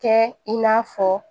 Kɛ i n'a fɔ